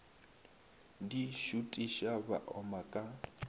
di šutiša ba oma ka